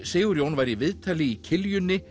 Sigurjón var í viðtali í